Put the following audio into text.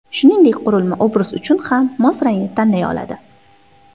Shuningdek, qurilma obraz uchun ham mos rangni tanlay oladi.